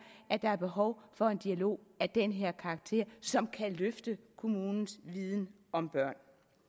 at der er behov for en dialog af den her karakter som kan løfte kommunens viden om børn